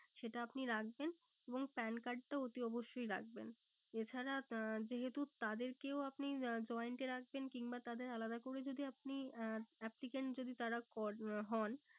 সেটা আপনি রাখবেন। এবং PAN card টা অতি অবশ্যই রাখবেন। এছাড়া আহ যেহেতু তাদেরকেও আপনি আহ joined এ রাখবেন কিংবা তাদের আলাদা করে যদি আপনি আহ applicant যদি তারা হন